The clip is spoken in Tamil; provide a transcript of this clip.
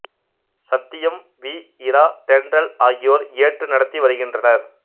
சத்தியம் வி இரா தென்றல் ஆகியோர் ஏற்று நடத்தி வருகின்றனர்